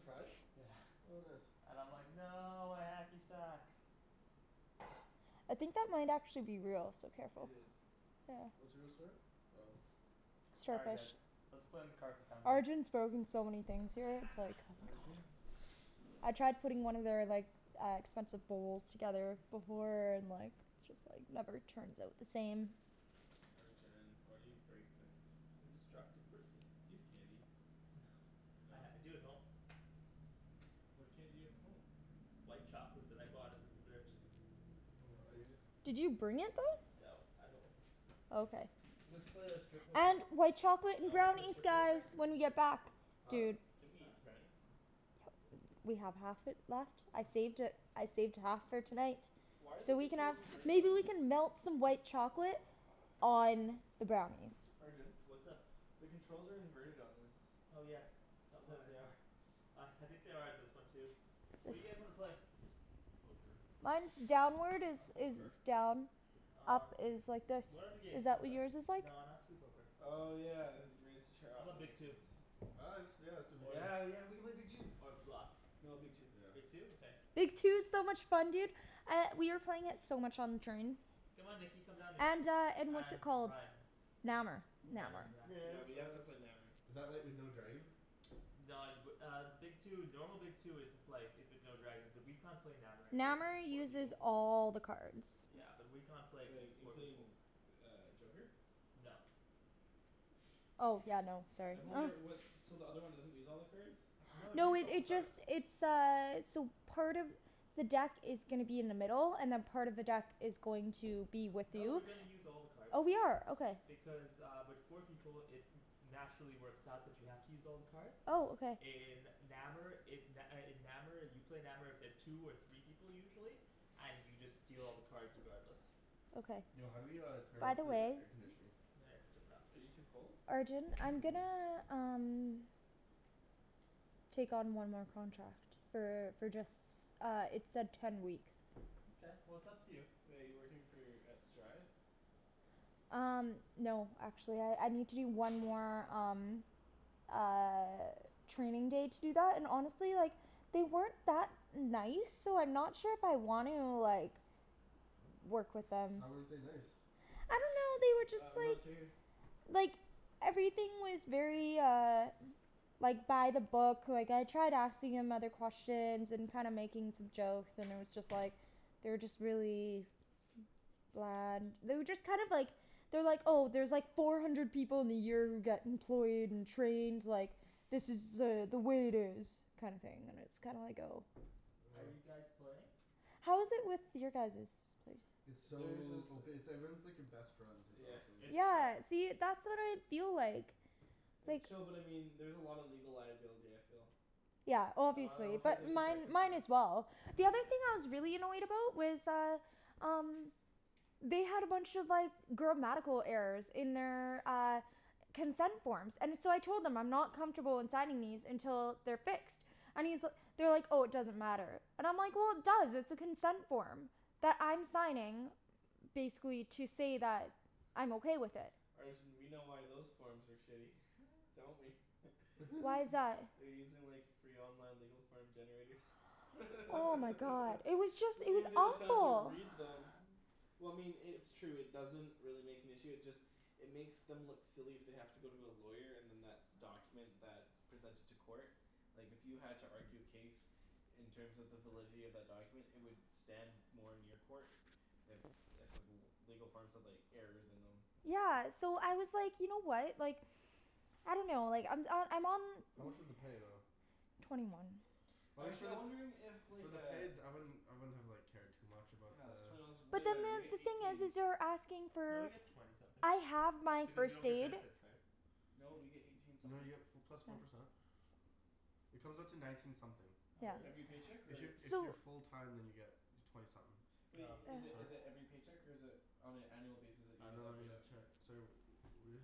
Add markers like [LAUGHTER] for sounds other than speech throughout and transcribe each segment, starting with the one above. pride? Yeah. What bus? And I'm like "No, my hacky sack!" I think that might actually be real, so It careful. is. What's real, sorry? Oh. All right guys. Let's play in the [INAUDIBLE] Arjan's broken so many things here, it's like [NOISE] Has he? [NOISE] I tried putting one of their like, uh expensive bowls together [NOISE] before, and like just like, never turns out the same. Arjan, why do you break things? I'm a destructive person. Do you have candy? [NOISE] Uh No? I do at home. What candy do you have at home? White chocolate that I bought as a dessert. Hold on, I need to just Did you bring it though? No, at home. Okay. Let's play uh strip poker. And white chocolate Y'all wanna play brownies strip poker? guys, when you get back. Huh? Dude. Didn't we eat the brownies? We have half it left, I saved it, I saved half for tonight. Why are the So we can controls have, inverted maybe on we this? can melt some white chocolate on the brownies. Arjan? What's up? The controls are inverted on this. Oh yes, sometimes Why? they are. Uh I think they are on this one too. What do you guys wanna play? Poker. Mine's [NOISE] downward is, I'll poke is her. done. Up Um is like this, What other games is do you that what play? yours is [NOISE] like? No not strip poker. Oh yeah, raise the chair How up, 'bout that Big makes Two? sense. Oh yeah, let's do yeah let's do Big Two. Yeah yeah, we could play Big Two. Or Bluff. No, Big Two. Yeah. Big Two? Okay. Big Two is so much fun dude. Uh, we were playing it so much on the train. Come on Nikki, come down here. And uh and what's it And called? Ryan. Nammer. Nammer, yeah. No, I Yeah we missed have to out. play Nammer. Is that like with no dragons? No, y- w- uh Big Two, normal Big Two isn't like, is with no dragons, but we can't play Nammer anyway cuz Nammer it's four uses people. all the cards. Yeah and we can't play because Like, it's four people. including uh joker? No. Oh yeah, no, sorry. I've only e- [LAUGHS] what, [NOISE] so the other one doesn't use all the cards? No, it No uses it all the it cards. just, it's uh, so part of the deck is gonna be in the middle, and then part of the deck is going to be with No, we're you. gonna use all the cards. Oh we are, okay. Because uh with four people, it naturally works out that you have to use all the cards. Oh, okay. In Nammer it, n- uh in Nammer you play Nammer with the two or three people usually. And you just deal all the cards regardless. Okay. Yo, how do we uh turn By off the the way air conditioning? Are you [INAUDIBLE] too cold? Arjan, Yeah, I'm I'm cold. gonna um take on one more contract. For for just, uh it said ten weeks. Mkay, well it's up to you. Wait, you're working for, at Strive? Um no actually, I I need to do one more, um uh training day to do that, and honestly, like they weren't that nice, so I'm not sure if I want to, like work with them. How weren't they nice? I dunno, they were Ah, just like remote's right here. like everything was very uh like by the book, like I tried asking him other questions and kinda making some jokes, and it was just like they were just really bland. They were just kind of like they're like, "Oh, there's like four hundred people in the year who get employed and trained, like, this is uh the way it is." kinda thing, and it's kinda like, oh. Are Oh. you guys playing? How is it with your guys's? It's There's just so ope- it's like everyone's [NOISE] like your best friend, it's Yeah. [NOISE] awesome. It's chill. Yeah, see, that's what I feel like. It's like chill but I mean, there's a lot of legal liability, I feel. Yeah, [NOISE] I obviously, don't feel like they but mine protect us mine enough. as well. The other thing I was really annoyed about was uh um they had a bunch of like grammatical errors in their, uh consent forms. And so I told them, I'm not comfortable in signing these until they're fixed. I mean, so, they were like "Oh, it doesn't matter." And I'm like "Well, it does, it's a consent form." That I'm signing basically to say that I'm okay with it. Arjan we know why those forms are shitty. [LAUGHS] [NOISE] Don't we? [LAUGHS] Why [LAUGHS] is that? They're using like free online legal form generators. [LAUGHS] They Oh my god. It was just don't it was even take the time to awful. read them. Well I mean i- it's true, it doesn't really make an issue, it just it makes them look silly if they have to go to a lawyer and then that's the document that's presented to court. Like if you had to argue a case in terms of the validity of that document, it would stand more in your court if if the l- legal forms had like errors in them. Yeah so I was like, you know what, like I dunno, like I'm uh, I'm on How much was the pay though? twenty one. I mean Actually for I'm the wondering if for like the uh pay d- I wouldn't, I wouldn't have like cared too much about Yeah it's the twenty one's way But then better. the We get other thing is eighteen. is they're asking No, you for get twenty something. I have my Because you first don't get aid. benefits, right? No, we get eighteen You know you something. get f- plus four percent. It comes out to nineteen something. Oh Yeah. really? Every paycheck If y- or? if So you're full time then you get twenty something. Wait, i- is it is Sorry? it every paycheck or is it on an annual basis that you I get don't that know I paid get a out? check, sorry wh-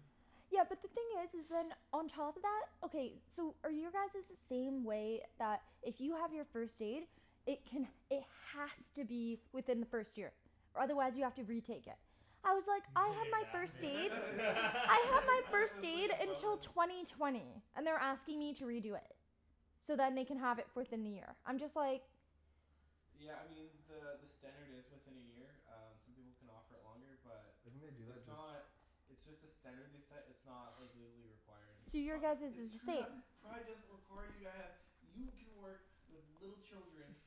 Yeah, but the thing is is then, [NOISE] on top of that, okay, so are your guys's the same way, that if you have your first aid it can, it has to be within the first year? Or otherwise you have to retake it. I was like, [LAUGHS] I Didn't have even my ask first me [LAUGHS] They aid. I have my said it [LAUGHS] first was like aid a until bonus. twenty twenty. And they're asking me to redo it. So then they can have it fourth in the year. I'm just like Yeah I mean, the the standard is within a year, um some people can offer it longer, but I think they do it's that just not [NOISE] it's just a standard they set, it's not like [NOISE] legally required, which is So your fucked. [NOISE] guys's It's is the screwed same. up! Pride doesn't require you to have, you can work with little children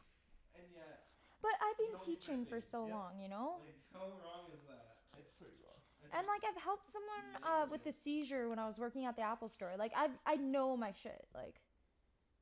and yet But I've you been don't need first teaching for aid. so Yep. long, you know? Like how wrong is that? [NOISE] It's pretty wrong. Like it's And like I've helped someone uh with a negligent. seizure when I was working at the Apple store. Like I I know my shit, like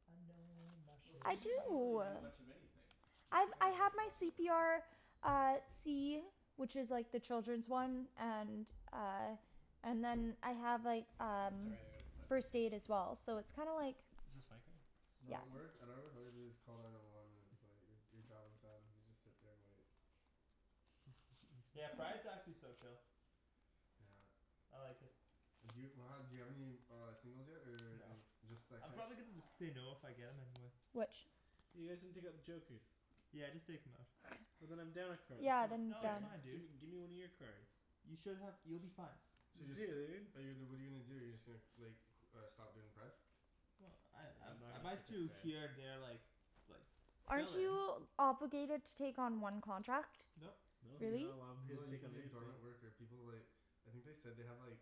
I know my Well, shit. I seizures you don't really do. do much of anything. You I just I kinda have like my watch c over p 'em. r Uh, C. Which is like the children's one, and uh and then I have like Oh um sorry I gotta plug this first in. aid as well. So it's kinda like Is this my thing? No, at Yep. work, at our work all you have to do is call nine one one and it's like your job is done, you just sit there and wait. Yeah, Pride's actually so chill. Yeah. I like it. D'you [NOISE] do you have any uh singles yet or No. any, just that I'm kid? probably gonna end up saying no if I get him anyway. Which? You guys didn't take out the jokers. Yeah just take 'em out. And then I'm down a card, that's Yeah, not then No it's it's fair. um fine dude. Gimme gimme one of your cards. You should have, you'll be fine. So you're just f- Dude. but you what are you gonna do, you're just gonna like c- stop doing pride? Well, I I I'm not I might do here and gonna [INAUDIBLE] there, like like Aren't fill in. you obligated to take on one contract? Nope. No, you're Really? not allowed to No, you take can on be a anything. dormant worker, people like I think they said they have like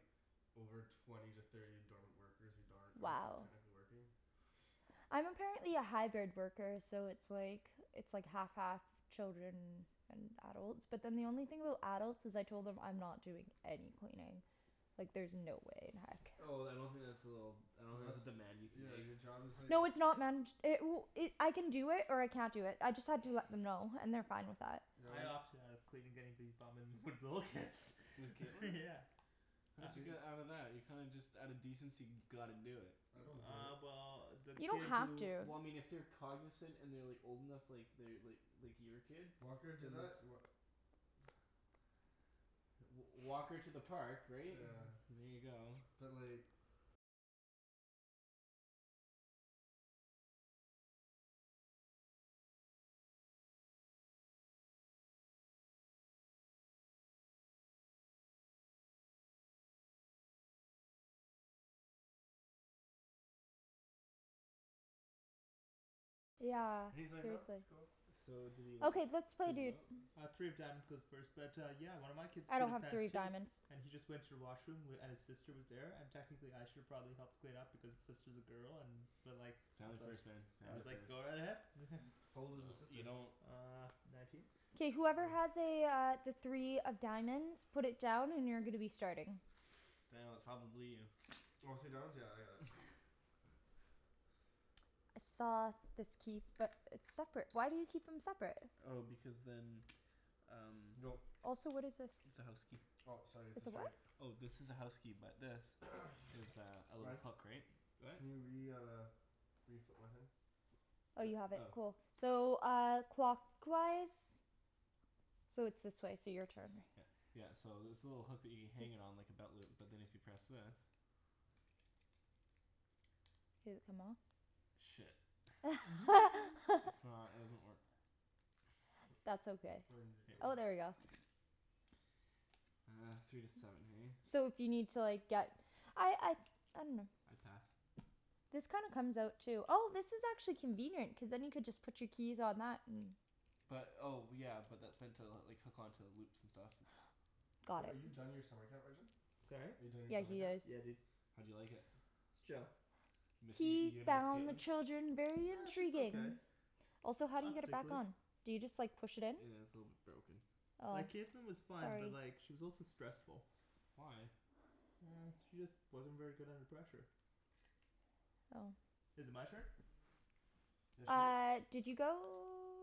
over twenty to thirty dormant workers, who darn- aren't Wow. technically working. [NOISE] I'm apparently a hybrid worker, so it's like it's like half half children and adults. But then the only thing about adults is I told them I'm not doing any cleaning. Like there's no way in heck. Oh then I don't think that's a little, I don't No think that's that's a demand you can Yeah make. your job is like No, it's not man- ch- it w- it, I can do it, or I can't do it, I just had to let them know and they're fine with that. Yeah what I do opted out of cleaning anybody's bum and with little kids. With [LAUGHS] Kaitlyn? Yeah. How did you Do they get out of that? You kinda just out of decency gotta do it. I don't do it. Uh well the You kid don't have who to. Well I mean if they're cognizant and they're like old enough, like they're like like your kid. Walker do Then that's that? Wha- w- walk her to the park, right? Yeah. [NOISE] And there you go. But like Yeah, And he's like "No, seriously. that's cool." So did he like Okay, let's play, clean them dude. out? Uh three of diamonds goes first but yeah, one of my kids I pooed don't his have pants three of too. diamonds. And he just went to the washroom, w- and his sister was there, and technically I should have probably helped clean up because his sister's a girl, and but like I Family was like, first man, I family was like first. "Go ahead." [LAUGHS] How old was his No, you sister? don't Uh nineteen? K whoever has Oh. a uh, the three of diamonds, put it down and you're gonna be starting. [NOISE] Daniel, it's probably you. Oh, three of diamonds? Yeah I got it. [LAUGHS] I saw this key, but it's separate. Why do you keep them separate? Oh because then um Go. Also what is this? it's a house key. Oh sorry it's a It's a straight. what? Oh, this is a house key, but this [NOISE] is a, a little Ryan. hook, right? Go ahead. Can you re- uh reflip my thing? Oh you have it? Oh. Cool. So uh, clockwise? So it's this way, so your turn. Yeah. Yeah, so this little hook that you hang it on like a belt loop. But then if you press this Did it come off? Shit. [LAUGHS] I's [LAUGHS] not, it doesn't work. That's okay. Oh, [INAUDIBLE] there we go. Uh, three to seven hey? So if you need to like, get I I I dunno. I pass. This kinda comes out too. Oh this is actually convenient, cuz then you could just put your keys on that, and But, oh yeah, but that's meant to like hook onto loops and stuff, it's Wait, Got are it. you done your summer camp, Arjan? Sorry? Are you done your Yeah, summer he camp? is. Yeah dude. How'd you like it? It's chill. Miss, y- He you gonna miss found the Kaitlyn? children very [NOISE] She's okay. intriguing. Also how do you Not get it back particularly. on? Do you just like push it in? Yeah, it's a little bit broken. Oh. Like Kaitlyn was fine, Sorry. but like she was also stressful. Why? [NOISE] She just wasn't very good under pressure. Oh. Is it my turn? Yeah shit. Uh did you go?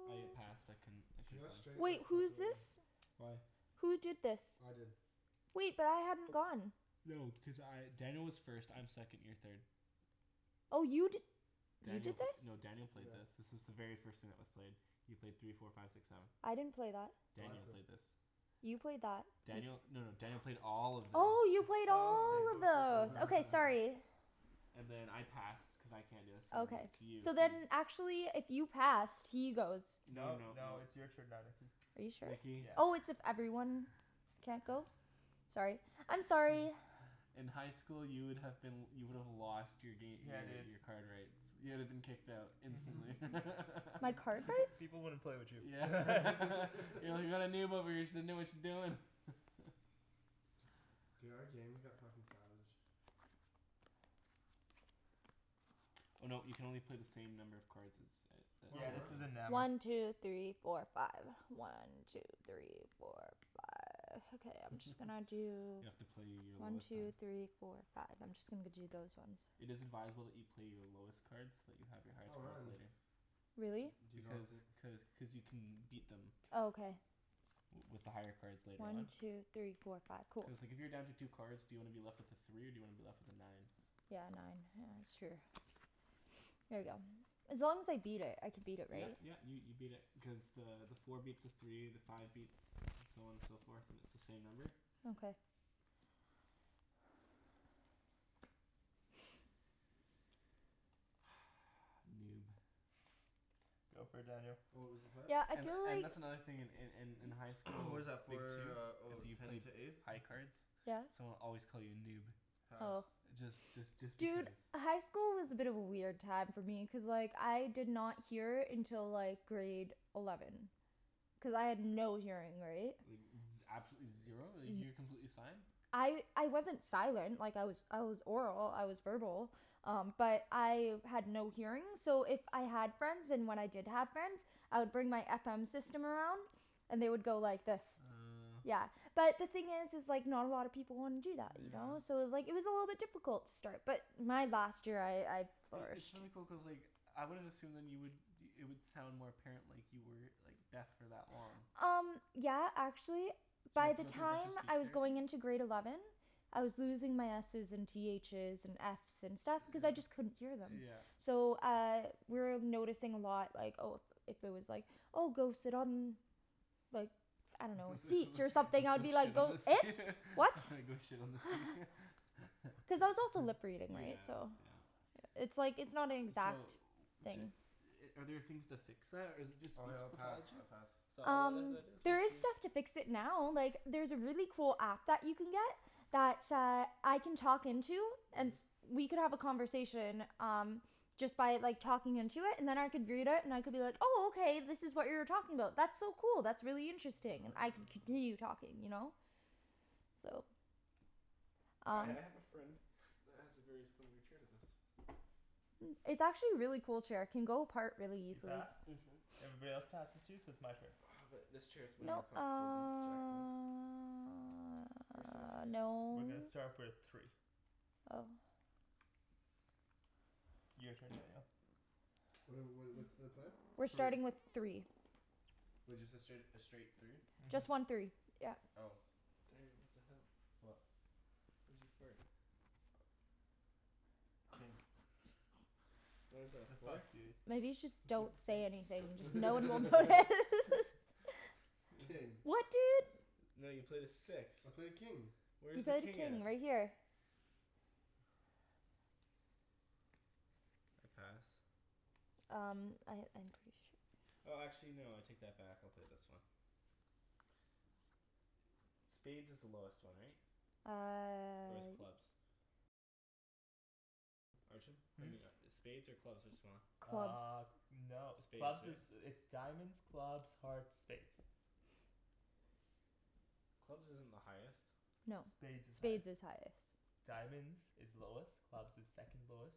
I passed. I couldn't, I She couldn't got go. straight Wait, like who fucked is over. this? Why? Who did this? I did. Wait, but I hadn't gone. No, because I, Daniel was first, I'm second, you're third. Oh you d- You Daniel did p- this? no Daniel played this. This is the very first thing that was played. You played three four five six seven. I didn't play that. No, I Daniel played. played this. You played that. Daniel, no no Daniel played all of this. Oh, you played Oh Oh. okay all of cool cool cool. those. Yeah. Okay sorry. And then I passed cuz I can't, [INAUDIBLE] so then Okay. it's you. So then actually if you passed, he goes. No No no no. no it's your turn now, Nikki. Are you sure? Nikki. Yeah. Oh, it's if everyone can't go? Sorry. I'm sorry. In high school you would have been, you would have lost your gam- , Yeah your dude. your card rights. You would have been kicked out instantly. [LAUGHS] [LAUGHS] My Peop- card people rights? people wouldn't play with you. Yeah. [LAUGHS] [LAUGHS] Yeah we [LAUGHS] got a noob over here, she doesn't know what she's doing. [LAUGHS] Dude, our game has got fucking savage. Oh no, you can only play the same number of cards as, a Or Yeah this more. a isn't Nammer. One two three four five. One two three four five. Okay, I'm just gonna [LAUGHS] do You have to play your One lowest, two three uh four five. I'm just gonna g- do those ones. It is advisable that you play your lowest cards, so that you have your highest Oh cards man. later. Really? D- do you not Because, think cuz cuz you can beat them Oh okay. w- with the higher cards later One on. two three four five. Cool. Cuz like if you're down to two cards, do you wanna be left with a three or do you wanna be left with a nine? Yeah, nine. Yeah, that's true. Here we go. As long as I beat it, I can beat it Yeah right? yeah, you you beat it, because the the four beats a three, the five beats, so on and so forth, and it's the same number. Okay. [NOISE] Noob. [NOISE] Go for it Daniel. What was the play? Yeah, I And feel and like that's another in in in in high [NOISE] school, What is that Big Two for, oh if you ten played to ace? high cards Yes? someone would always call you noob. Pass. Oh. Just just just Dude, because. high school was a bit of a weird time for me, cuz like, I did not hear until like grade eleven. Cuz I had no hearing, right? Like z- absolutely zero? Like you were completely sign? I I wasn't silent, like I was I was oral, I was verbal. Um but I had no hearing, so if I had friends, and when I did have friends I would bring my FM system around. And they would go like this. Uh Yeah. But the thing is is like, not a lot of people wanna do that, you know? So Yeah. it was like, it was a little bit difficult to start. But my last year I, I I- it's flourished. really cool, cuz like I wouldn't assume then you would, it would sound more apparent like you were like deaf for that long. Um yeah, actually Did you by have to the go through a bunch of time speech I was therapy? going into grade eleven I was losing my S's and T H's and F's and stuff cuz I Yeah. just couldn't hear them. Yeah. So uh, we were noticing a lot like, oh if if there was like, oh go sit on like I dunno, [LAUGHS] a let's go seat or something, I would be like, shit on "Go the seat. it? What?" [LAUGHS] Go shit on the seat. [LAUGHS] Cuz I was also lip [LAUGHS] reading, right? Yeah, So yeah. It's like, it's not an So exact d- are there things to fix that? Or is it just Oh speech yeah, I'll pass, pathology? I pass. Um, there is stuff to [INAUDIBLE] fix it now, like there's a really cool app that you can get that uh, I can talk into and Mhm. we could have a conversation, um just by like talking into it, and then I could read it and I could be like, oh okay this is what you were talking about. That's so cool, that's really interesting. I could Oh. continue talking, you know? So I Um I have a friend [NOISE] that has a very similar chair to this. Hmm. It's actually a really cool chair, it can go apart really You easily. passed? Mhm. Everybody else passes too? So it's my turn. Uh but this chair's way No, more comfortable than Jacklyn's. uh [INAUDIBLE] no. We're gonna start with three. Oh. Your turn Daniel. What are wh- what's the play? We're Three. starting with three. Wait, just the straight, a straight three? Mhm. Just one three, yeah. Oh. Daniel, what the hell? What? Why'd you fart? King. What is that, a The fuck, four? dude. Maybe you should, don't say anything, just no one will notice. [LAUGHS] [LAUGHS] King. What dude? No, you played a six. I played king. You Where's the played a king at? king, right here. Pass. Um I, I'm pretty sure. Oh actually no, I take that back, I'll play this one. Spades is the lowest one, right? Or is Uh clubs? Hmm? Maybe not. Spades or clubs, what's smaller? Uh. Clubs. No. Spades, Clubs is, right? it's diamonds, clubs, hearts, spades. Clubs isn't the highest. No. Spades is highest. Spades is highest. Diamonds is lowest, clubs is second lowest.